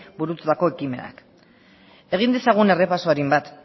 burututako ekimenak egin dezagun errepaso arin bat